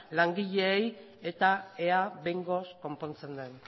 langileei eta ea behingoz konpontzen den